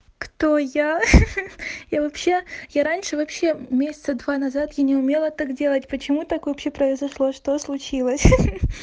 кто я ха-ха я вообще я раньше вообще месяца два назад я не умела так делать почему так вообще произошло что случилось ха-ха